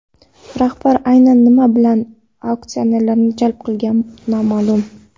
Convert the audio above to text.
Rahbar aynan nima bilan aksionerlarni jalb qilgani noma’lum.